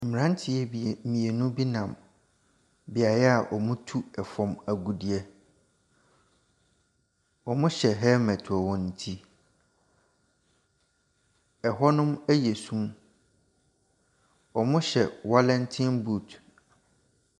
Mmranteɛ mmienu bi nam, beaeɛ a wɔtu fam agudeɛ. Wɔhyɛ helmet wɔ wɔn ti,. Ɛhɔnom yɛ sum. Wɔnhywɛ ɛallenten boot.